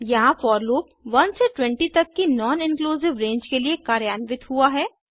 यहाँ for loop 1 से 20 तक की नॉन इंक्लूसिव रेंज के लिए कार्यान्वित हुआ है